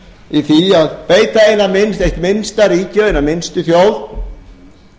í því að beita eitt minnsta ríkið og hina minnstu þjóð í